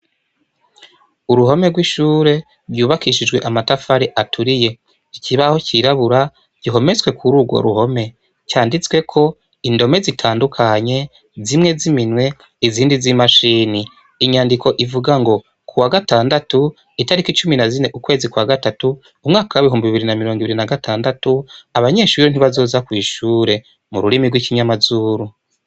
Uruhome rwishure yubakishijwe amatafari aturiye ikibaho cirabura gihometswe kurugo ruhome canditsweko indome zitandukanye zimwe ziminwe izindi zimashine inyandiko ivuga ngo kuwa gatandatu itariki cumi nazine ukwezi kwa gatatu umwaka wibihumbi bibiri namirongo ibiri nagatandatu abanyeshure ntibazoza kwishure mururimi rwikinyamazuru